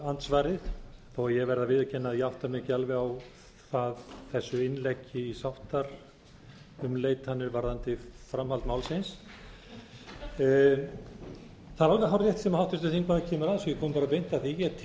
verði að viðurkenna að ég átta mig ekki alveg á hvað þessu innleggi um sáttaumleitanir varðandi framhald málsins það er alveg hárrétt sem háttvirtur þingmaður kemur að svo ég komi bara beint að því ég